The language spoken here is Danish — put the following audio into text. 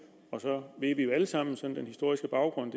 at vi jo alle sammen kender den historiske baggrund